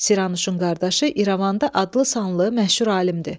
Siranuşun qardaşı İrəvanda adlı-sanlı, məşhur alimdir.